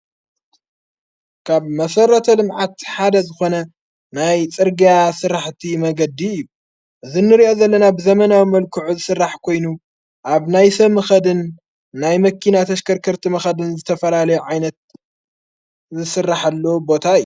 ካብ መሠረተ ልምዓት ሓደ ዝኾነ ናይ ጽርጋያ ሥራሕቲ መንገዲ እዩ እዝ ንርእዮ ዘለና ብዘመናዊ መልክዑ ዝሥራሕ ኮይኑ ኣብ ናይ ሰብ መኸድን ናይ መኪና ተሽከርከርቲ መኸድን ዝተፈላለዮ ዓይነት ዝስርሓሉ ቦታ እዩ።